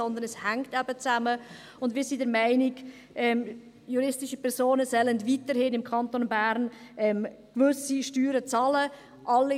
Denn es hängt eben zusammen, und wir sind der Meinung, dass juristische Personen weiterhin im Kanton Bern gewisse Steuern bezahlen sollen.